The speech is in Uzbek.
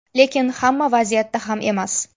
Lekin hamma vaziyatda ham emas.